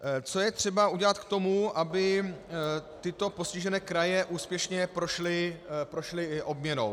Co je třeba udělat k tomu, aby tyto postižené kraje úspěšně prošly obměnou?